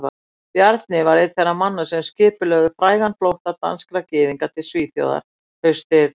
Bjarni var einn þeirra manna sem skipulögðu frægan flótta danskra gyðinga til Svíþjóðar haustið